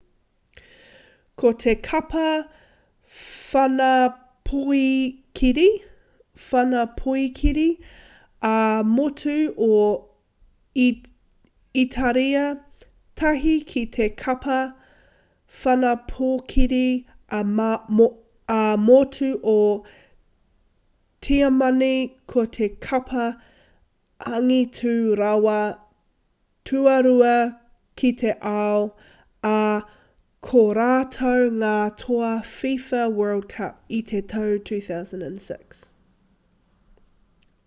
ko te kapa whanapoikiri ā-motu o itāria tahi ki te kapa whanapoikiri ā-motu o tiamani ko te kapa angitu rawa tuarua ki te ao ā ko rātou ngā toa fifa world cup i te tau 2006